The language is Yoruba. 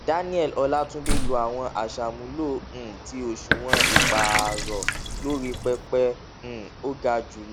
daniel olatunde lò àwọn aṣàmúlò um ti òṣùwọn ìpààrọ lórí pẹpẹ um ó gà jùlọ